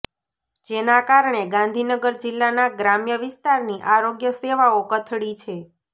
જેના કારણે ગાંધીનગર જિલ્લાના ગ્રામ્ય વિસ્તારની આરોગ્ય સેવાઓ કથળી છે